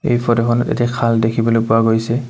এই ফটোখনত এটি খাল দেখিবলৈ পোৱা গৈছে।